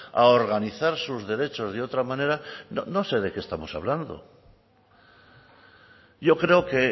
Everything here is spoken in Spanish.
a organizar sus derechos de otra manera no sé de qué estamos hablando yo creo que